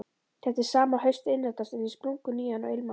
Þetta sama haust innritast hann í splunkunýjan og ilmandi